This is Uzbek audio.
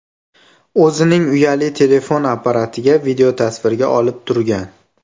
o‘zining uyali telefon apparatiga videotasvirga olib turgan.